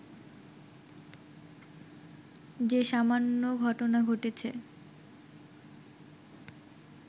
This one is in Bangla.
যে সামান্য ঘটনা ঘটেছে